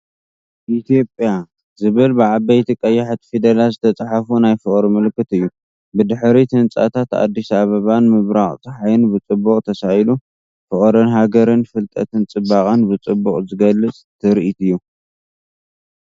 “E❤️HIOPIA” ዝብል ብዓበይቲ ቀያሕቲ ፊደላት ዝተጻሕፈ ናይ ፍቕሪ ምልክት እዩ። ብድሕሪት ህንጻታት ኣዲስ ኣበባን ምብራቕ ጸሓይን ብጽቡቕ ተሳኢሉ፤ ፍቕሪ ሃገርን ፍልጠት ጽባቐን ብጽቡቕ ዝገልጽ ትርኢት እዩ።